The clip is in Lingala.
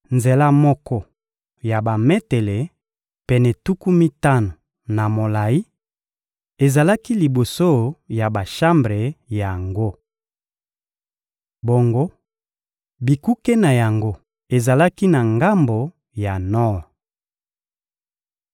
Nzela moko ya bametele pene mitano na mokuse mpe bametele pene tuku mitano na molayi ezalaki liboso ya bashambre yango. Bongo, bikuke na yango ezalaki na ngambo ya nor.